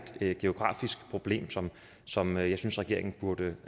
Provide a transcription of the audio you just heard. geografisk problem som som jeg synes regeringen burde